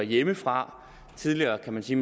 hjemmefra tidligere kunne man sige